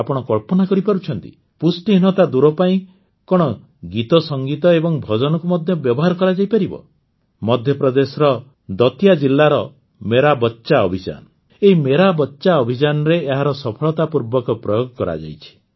ଆପଣ କଳ୍ପନା କରିପାରୁଛନ୍ତି ପୁଷ୍ଟିହୀନତା ଦୂର ପାଇଁ କଣ ଗୀତସଙ୍ଗୀତ ଏବଂ ଭଜନକୁ ମଧ୍ୟ ବ୍ୟବହାର କରାଯାଇପାରିବ ମଧ୍ୟପ୍ରଦେଶର ଦତିୟା ଜିଲାର ମେରା ବଚ୍ଚା ଅଭିଯାନ ଏହି ମେରା ବଚ୍ଚା ଅଭିଯାନରେ ଏହାର ସଫଳତାପୂର୍ବକ ପ୍ରୟୋଗ କରାଯାଇଛି